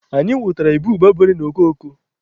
Anyị nwụtara ịbụba bere n'okoko.